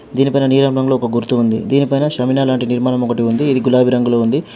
దీనిపైన నీలం రంగులో ఒక గుర్తు ఉంది. దీనిపైన షమీనా లాంటి నిర్మాణం ఒకటి ఉంది ఇది గులాబి రంగులో ఉంది.